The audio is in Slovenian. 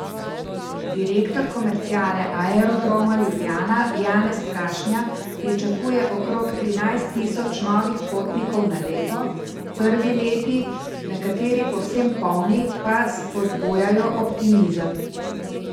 Direktor komerciale Aerodroma Ljubljana Janez Krašnja pričakuje okrog trinajst tisoč novih potnikov na leto, prvi leti, nekateri povsem polni, pa spodbujajo optimizem.